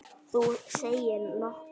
Þú segir nokkuð!